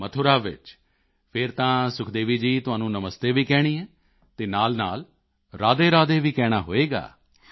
ਮਥੁਰਾ ਵਿੱਚ ਫਿਰ ਤਾਂ ਸੁਖਦੇਵੀ ਜੀ ਤੁਹਾਨੂੰ ਨਮਸਤੇ ਵੀ ਕਹਿਣੀ ਹੈ ਅਤੇ ਨਾਲਨਾਲ ਰਾਧੇਰਾਧੇ ਵੀ ਕਹਿਣਾ ਹੋਵੇਗਾ